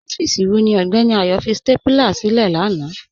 Ọfíìsí wọ̀ ní Ọgbẹni Ayo fí stápúlà sí ilẹ̀ làna?